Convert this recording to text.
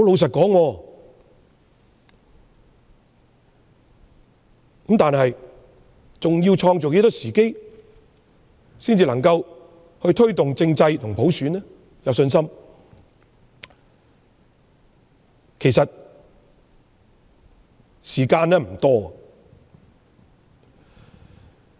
政府仍要再創造多少時機，才能令市民對推動政制和普選有信心？